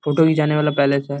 photo खिचाने वाला palace है |